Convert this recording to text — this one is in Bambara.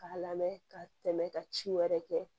K'a lamɛn ka tɛmɛ ka ci wɛrɛ kɛ